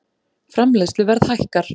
Framleiðsluverð hækkar